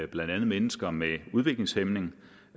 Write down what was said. blandt andet mennesker med udviklingshæmning